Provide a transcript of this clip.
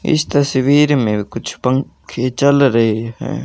इस तस्वीर में कुछ पंखे चल रहे हैं।